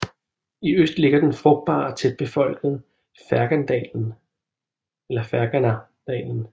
I øst ligger den frugtbare og tætbefolkede Ferganadalen